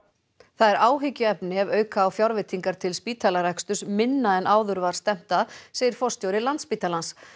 það er áhyggjuefni ef auka á fjárveitingar til spítalareksturs minna en áður var stefnt að segir forstjóri Landspítalans